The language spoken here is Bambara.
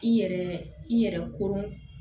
I yɛrɛ i yɛrɛ koron